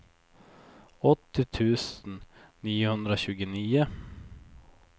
åttio tusen niohundratjugonio